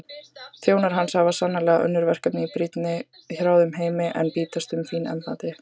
Þjónar hans hafa sannarlega önnur verkefni brýnni í hrjáðum heimi en bítast um fín embætti.